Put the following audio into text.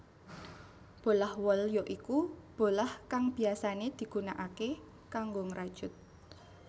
Bolah wol ya iku bolah kang biyasané digunakaké kanggo ngrajut